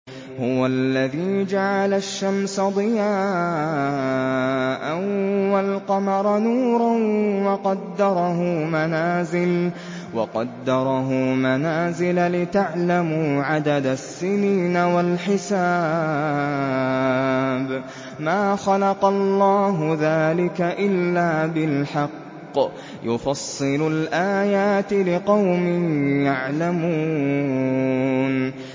هُوَ الَّذِي جَعَلَ الشَّمْسَ ضِيَاءً وَالْقَمَرَ نُورًا وَقَدَّرَهُ مَنَازِلَ لِتَعْلَمُوا عَدَدَ السِّنِينَ وَالْحِسَابَ ۚ مَا خَلَقَ اللَّهُ ذَٰلِكَ إِلَّا بِالْحَقِّ ۚ يُفَصِّلُ الْآيَاتِ لِقَوْمٍ يَعْلَمُونَ